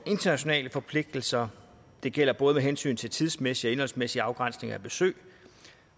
internationale forpligtelser det gælder både med hensyn til tidsmæssig og indholdsmæssig afgrænsning af besøg og